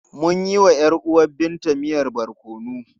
Mun yi wa ‘yar uwar Binta miyan barkono.